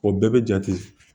O bɛɛ bɛ jate